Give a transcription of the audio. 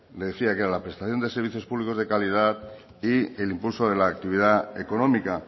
le decía que la prestación de servicios públicos de calidad y el impulso de la actividad económica